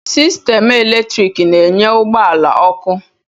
Sistemụ eletrik na-enye ụgbọ ala ọkụ